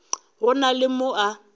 go na le mo a